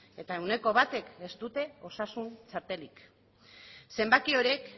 eta ehuneko batek ez dute osasun txartelik zenbaki horiek